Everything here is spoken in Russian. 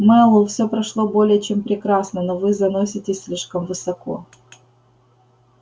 мэллоу все прошло более чем прекрасно но вы заноситесь слишком высоко